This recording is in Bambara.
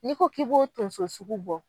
Ni ko k'i b'o tonso sugu bɔ